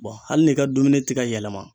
Bɔn hali n'i ka dumuni te ka yɛlɛma